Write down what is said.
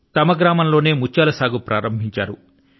తమ గ్రామంలోనే ముత్యాల సాగు ను ఆరంభించారు